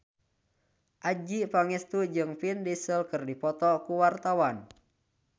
Adjie Pangestu jeung Vin Diesel keur dipoto ku wartawan